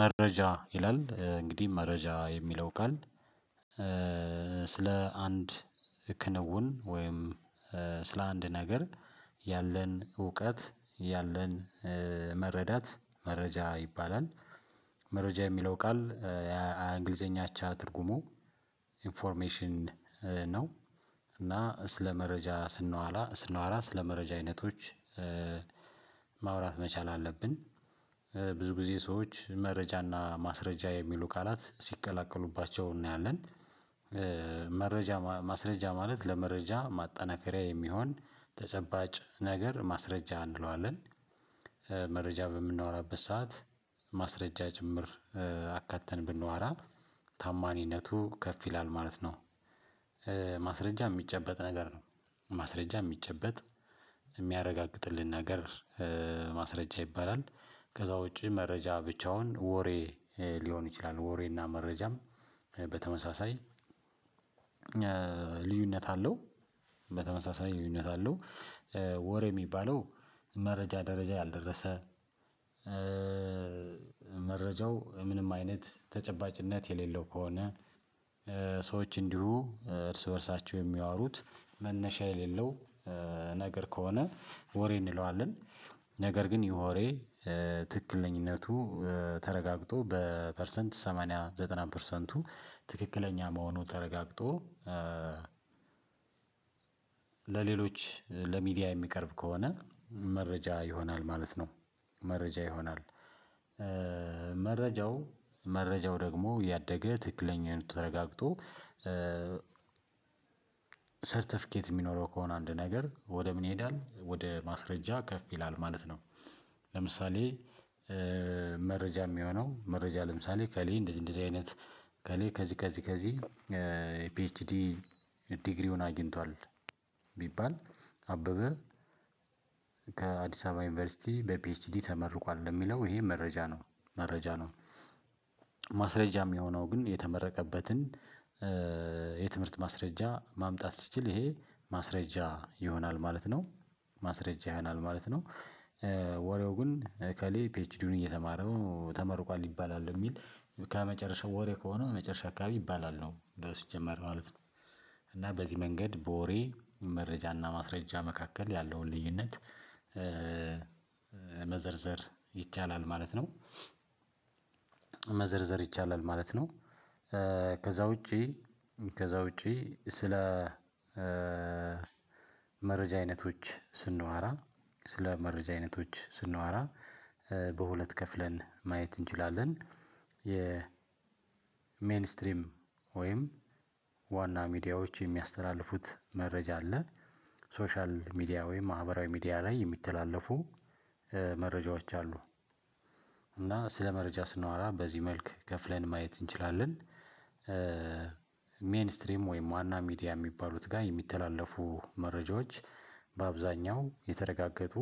መረጃ ይላል እንግዲህ መረጃ የሚለው ቃል ስለ አንድ ክንውን ወይም ስለ አንድ ነገር ያለን እውቀት ያለን መረዳት መረጃ ይባላል። መረጃ የሚለው ቃል እንግሊዘኛ አቻ ትርጉሙ ኢንፎርሜሽን ነው። እና ስለ መረጃ ስናወራ ሲናወራ ስለ መረጃ አይነቶች ማውራት መቻል አለብን። ብዙ ጊዜ ሰዎች መረጃና ማስረጃ የሚሉ ቃላት ሲቀላቀሉባቸው እናያለን። መረጃ ማስረጃ ማለት ለመረጃ ማጠናከሪያ የሚሆን ተጨባጭ ነገር ማስረጃ እንለዋለን። መረጃ በምናወራበት ሰዓት ማስረጃ ጭምር አካተን ብንዋራ ታማኝነቱ ከፍ ይላል ማለት ነው። ማስረጃ የሚጨበጥ ነገር ነው። ማስረጃ የሚጨበጥ የሚያረጋግጥልን ነገር ማስረጃ ይባላል። ከዛ ውጪ መረጃ ብቻውን ወሬ ሊሆን ይችላል ወሬና መረጃም በተመሳሳይ ልዩነት አለው። በተመሳሳይ ልዩነት አለው። ወሬ የሚባለው መረጃ ደረጃ ያልደረሰ መረጃው ምንም አይነት ተጨባጭነት የሌለው ከሆነ ሰዎች እንዲሁ እርስ በእርሳቸው የሚያወሩት መነሻ የሌለው ነገር ከሆነ ወሬ እንለዋለን። ነገር ግን ይሄ ወሬ ትክክለኛነቱ ተረጋግጦ በፐርሰንት ሰማንያ ዘጠና ፐርሰንቱ ትክክለኛ መሆኑ ተረጋግጦ። ለሌሎች ለሚዲያ የሚቀርብ ከሆነ መረጃ ይሆናል ማለት ነው። መረጃ ይሆናል። መረጃው መረጃው ደግሞ ያደገ ትክክለኛውን ተረጋግጦ ሰርተፊኬት የሚኖረው ከሆነ አንድ ነገር ወደ ምን ይሄዳል ወደ ማስረጃ ከፍ ይላል ማለት ነው። ለምሳሌ መረጃ የሚሆነው መረጃ ለምሳሌ ከሌ እንደዚህ እንደዚህ አይነት ከሌ ከዚህ ከዚህ ከዚህ የፒኤችዲ ዲግሪውን አግኝቷል ቢባል አበበ ከአዲስ አበባ ዩኒቨርሲቲ በፒኤችዲ ተመርቋል የሚለው ይሄ መረጃ ነው መረጃ ነው። ማስረጃ የሚሆነው ግን የተመረቀበትን የትምህርት ማስረጃ ማምጣት ሲችል ይሄ ማስረጃ ይሆናል ማለት ነው። ማስረጃ ያሆናል ማለት ነው። ወሬው ግን እከሌ ፒኤችዲውን እየተማረው ተመርቋል ይባላል የሚል ከመጨረሻው ወሬ ከሆነ መጨረሻ አካባቢ ይባላል ነው እንደው ሲጀመር ማለት ነው። እና በዚህ መንገድ በወሬ መረጃ እና ማስረጃ መካከል ያለውን ልዩነት መዘርዘር ይቻላል ማለት ነው። መዘርዘር ይቻላል ማለት ነው። ከዛ ውጪ ከዛ ውጪ ስለ መረጃ አይነቶች ስናዋራ ስለ መረጃ አይነቶች ስናዋራ በሁለት ከፍለን ማየት እንችላለን። የ ሜን ስትሪም ወይም ዋና ሚዲያዎች የሚያስተላልፉት መረጃ አለ። ሶሻል ሚዲያ ወይም ማህበራዊ ሚዲያ ላይ የሚተላለፉ መረጃዎች አሉ። እና ስለ መረጃ ስናወራ በዚህ መልክ ከፍለን ማየት እንችላለን። ሜይን ስትሪም ወይም ዋና ሚዲያ የሚባሉት ጋር የሚተላለፉ መረጃዎች በአብዛኛው የተረጋገጡ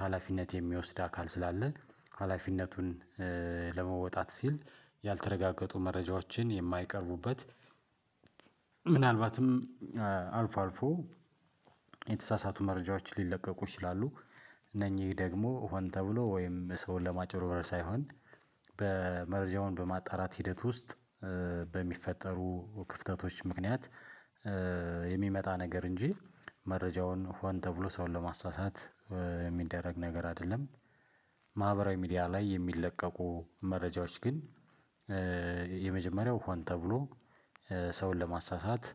ሀላፊነት የሚወስድ አካል ስላለ ሀላፊነቱን ለመወጣት ሲል ያልተረጋገጡ መረጃዎችን የማይቀርቡበት ምናልባትም አልፎ አልፎ የተሳሳቱ መረጃዎችን ሊለቀቁ ይችላሉ። እነኚህ ደግሞ ሆን ተብሎ ወይም ሰውን ለማጭበርበር ሳይሆን በመርዘውን በማጣራት ሂደት ውስጥ በሚፈጠሩ ክፍተቶች ምክንያት የሚመጣ ነገር እንጂ መረጃውን ሆን ተብሎ ሰውን ለማሳሳት የሚደረግ ነገር አይደለም። ማህበራዊ ሚዲያ ላይ የሚለቀቁ መረጃዎች ግን የመጀመሪያው ሆን ተብሎ ሰውን ለማሳሳት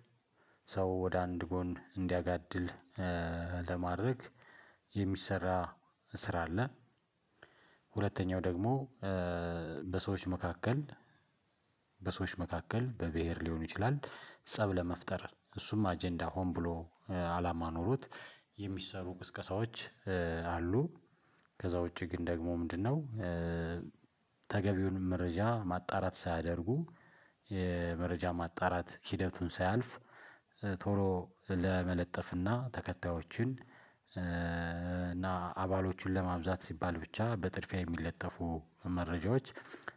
ሰው ወደ አንድ ጎን እንዲያጋድል ለማድረግ የሚሰራ ስራ አለ። ሁለተኛው ደግሞ በሰዎች መካከል በሰዎች መካከል በብሄር ሊሆን ይችላል ፀብ ለመፍጠር እሱም አጀንዳ ሆን ብሎ አላማ ኖሮት የሚሰሩ ቅስቀሳዎች አሉ። ከዛ ውጪ ግን ደግሞ ምንድነው? ተገቢውን መረጃ ማጣራት ሳያደርጉ የመረጃ ማጣራት ሂደቱን ሳያልፍ ቶሎ ለመለጠፍና ተከታዮችን እና አባሎቹን ለማብዛት ሲባል ብቻ በጥድፊያ የሚለጠፉ መረጃዎች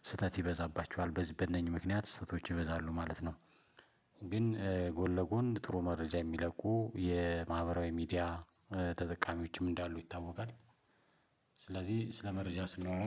ስህተት ይበዛባቸዋል በዚህ በእነኚህ ምክንያት ስህተቶች ይበዛሉ ማለት ነው። ግን ጎል ለጎን ጥሩ መረጃ የሚለቁ የማህበራዊ ሚዲያ ተጠቃሚዎችም እንዳሉ ይታወቃል። ስለዚህ ስለ መረጃ ስናወራ